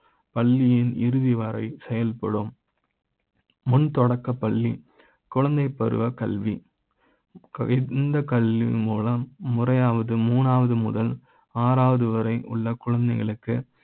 பள்ளி யின் இறுதி வரை செயல்படு ம் முன் தொடக்கப்பள்ளி குழந்தை பருவ கல்வி இந்த கல்வி மூலம் முறை யாவது மூணா வது முதல் ஆறாவது வரை உள்ள குழந்தைகளுக்கு